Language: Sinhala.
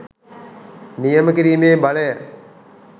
නියම කිරීමේ බලය